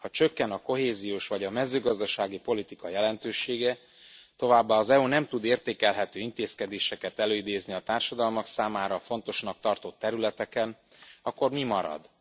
Ha csökken a kohéziós vagy a mezőgazdasági politika jelentősége, továbbá az EU nem tud értékelhető intézkedéseket előidézni a társadalmak számára fontosnak tartott területeken, akkor mi marad?